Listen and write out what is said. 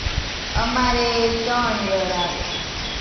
અમારે ત્રણ year આવે.